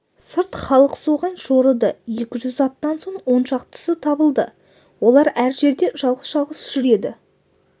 сырт халық соған жорыды екі жүз аттан он шақтысы табылды олар әр жерде жалғыз-жалғыз жүр еді